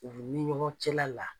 U ni ɲɔgɔn cɛla la.